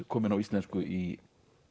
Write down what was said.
komin á íslensku í